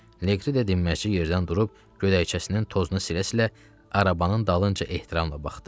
Liqri də dinməzcə yerdən durub, gödəkcəsinin tozunu silə-silə, arabanın dalınca ehtiramla baxdı.